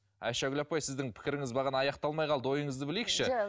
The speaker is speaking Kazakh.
айшагүл апай сіздің пікіріңіз бағана аяқталмай қалды ойыңызды білейікші